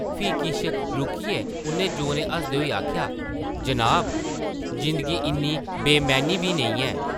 फ्ही किश रुकियै उʼन्नै जोरें हसदे होई आखेआ, जनाब जिंदगी इन्नी बेमैह्नी बी नेईं ऐ ।